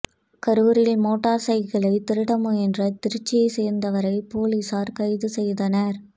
கரூரில் மோட்டாா் சைக்கிளைத் திருட முயன்ற திருச்சியைச் சோ்ந்தவரைப் போலீஸாா் கைது செய்தனா்